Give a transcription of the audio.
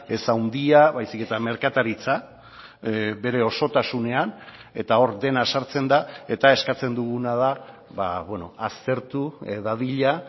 ez handia baizik eta merkataritza bere osotasunean eta hor dena sartzen da eta eskatzen duguna da aztertu dadila